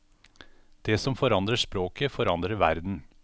Den som forandrer språket, forandrer verden.